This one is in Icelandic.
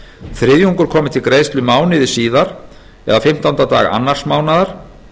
þriðjungur komi til greiðslu mánuði síðar eða fimmtánda dag annars mánaðar